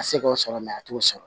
A se k'o sɔrɔ a t'o sɔrɔ